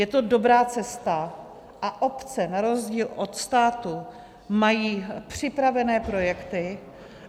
Je to dobrá cesta a obce na rozdíl od státu mají připraveny projekty.